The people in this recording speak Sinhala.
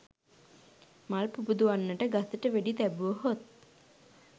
මල් පුබුදුවන්නට ගසට වෙඩි තැබුවහොත්